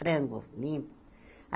Frango limpo.